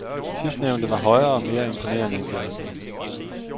Sidstnævnte var højere og mere imponerende end de andre.